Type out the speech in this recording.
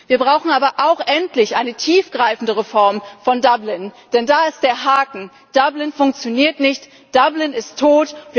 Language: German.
Wir brauchen aber auch endlich eine tiefgreifende Reform von Dublin, denn da ist der Haken Dublin funktioniert nicht, Dublin ist